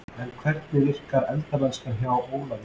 En hvernig virkar eldamennskan hjá Ólafi?